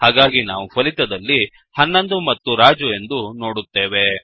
ಹಾಗಾಗಿ ನಾವು ಫಲಿತದಲ್ಲಿ 11 ಮತ್ತು ರಾಜು ಎಂದು ನೋಡುತ್ತೇವೆ